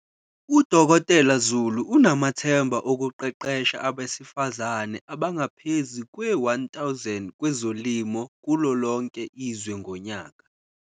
U-Dkt Zulu unamathemba okuqeqesha abesifazane abangaphezu kwe-1 000 kwezolimo kulolonke izwe ngonyaka.